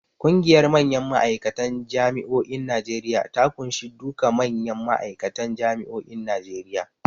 Ƙungiyar manyan ma'aikatan Jami'o'in Najeriya ta ƙunshi duka manyan ma'aikatan Jami'o'in Najeriya.